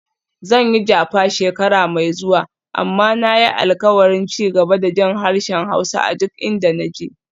Zan Jakpa shekara mai zuwa, amma na yi alkawarin ci gaba da jin harshen Hausa a duk inda na je.